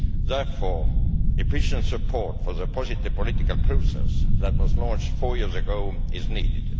Therefore, efficient support for the positive political process that was launched four years ago is needed.